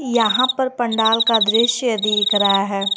यहां पर पंडाल का दृश्य दिख रहा है।